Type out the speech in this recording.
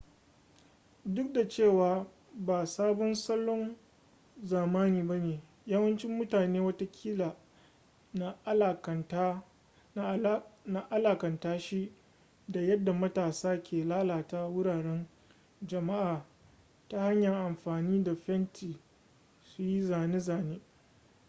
duk da cewa ba sabon salon zamani ba ne yawancin mutane watakila na alakanta shi da yadda matasa ke lalata wuraren jama'a ta hanyar amfani da fenti su yi zane-zane